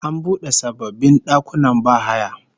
An bude sababbin dakunan bahaya